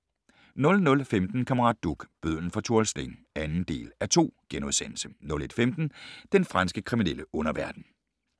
00:15: Kammerat Duch – bødlen fra Tuol Sleng (2:2)* 01:15: Den franske kriminelle underverden